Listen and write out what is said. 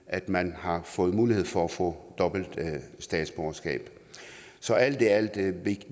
at man har fået mulighed for at få dobbelt statsborgerskab så alt i alt kan